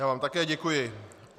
Já vám také děkuji.